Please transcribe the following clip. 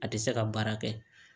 A tɛ se ka baara kɛ